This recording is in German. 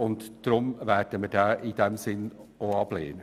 In diesem Sinn werden wir auch diese Planungserklärung ablehnen.